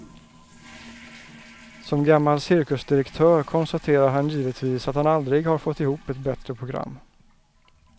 Som gammal cirkusdirektör konstaterar han givetvis att han aldrig har fått ihop ett bättre program.